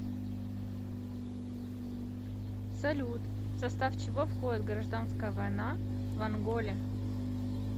салют в состав чего входит гражданская война в анголе